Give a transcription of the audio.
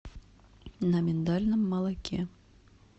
на миндальном молоке